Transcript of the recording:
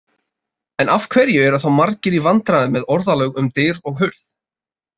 En af hverju eru þá margir í vandræðum með orðalag um dyr og hurð?